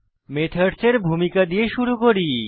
মেথডসের ভূমিকা দিয়ে শুরু করি